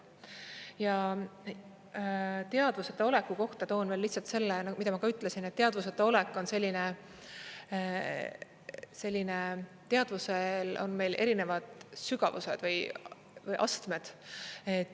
Ja teadvuseta oleku kohta toon veel lihtsalt selle, mida ma ka ütlesin, et teadvuseta olek on selline … teadvusel on meil erinevad sügavused või astmed.